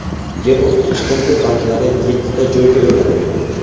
Yer osti chiqindi baklari yettita joyga o‘rnatilgan.